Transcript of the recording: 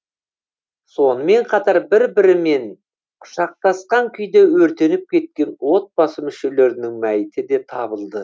сонымен қатар бір бірімен құшақтасқан күйде өртеніп кеткен отбасы мүшелерінің мәйіті де табылды